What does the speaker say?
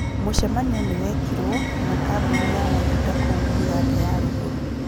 Mũcemanio nĩwekirwo na kambuni ya maguta kũu Uganda ya rùgũrũ